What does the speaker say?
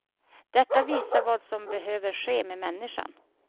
Detta visar vad som behöver ske med människan.